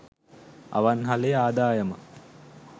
අවන්හලේ ආදායම